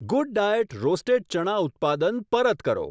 GoodDiet roasted ચણા ઉત્પાદન પરત કરો.